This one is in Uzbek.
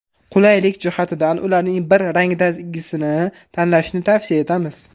Qulaylik jihatidan ularning bir rangdagisini tanlashni tavsiya etamiz.